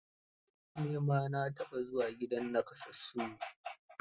Ni ma na taɓa zuwa gidan nakasassu.